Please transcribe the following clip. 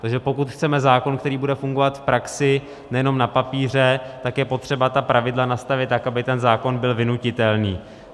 Takže pokud chceme zákon, který bude fungovat v praxi, nejenom na papíře, tak je potřeba ta pravidla nastavit tak, aby ten zákon byl vynutitelný.